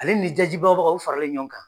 Ale ni daji bagabagaw faralen ɲɔgɔn kan .